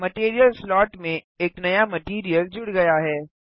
material slot में एक नया मटैरियल जुड़ गया है